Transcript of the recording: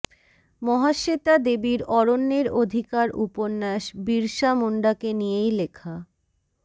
মহাশ্বেতা দেবীর অরণ্যের অধিকার উপন্যাস বিরসা মুন্ডাকে নিয়েই লেখা